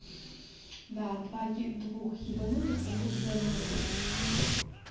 да два двух ебанутых посадила вместе